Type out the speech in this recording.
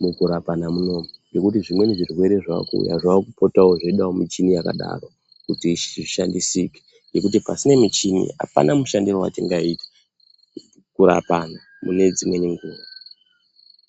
mukurapana munomu nekuti zvimweni zvirwere zvaakuuya zvakupotawo zveidawo michini yakadaro kuti zvishandisike ngekuti pasina michini apana mushandire watingaita kurapa antu mune dzimweni nguwa.